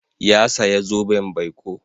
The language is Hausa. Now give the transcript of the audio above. Ya saya zoben baiko.